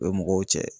U bɛ mɔgɔw cɛ